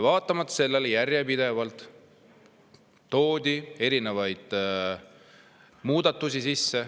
Vaatamata sellele toodi järjepidevalt erinevaid muudatusi sisse.